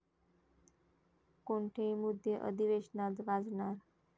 कोणते मुद्दे अधिवेशनात गाजणार?